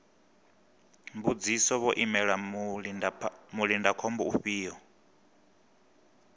mbudziso vho imela mulindakhombo ufhio